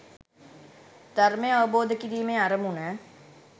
ධර්මය අවබෝධ කිරීමේ අරමුණ